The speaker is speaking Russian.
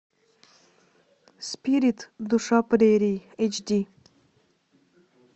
спирит душа прерий эйч ди